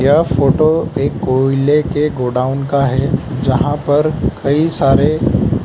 यह फोटो एक कोयले के गोडाउन का है जहां पर कई सारे --